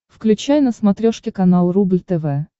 включай на смотрешке канал рубль тв